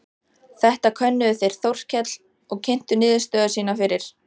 Þetta könnuðu þeir Þórkell og kynntu niðurstöður sínar fyrir